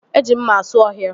Eji mma asụ ọhịa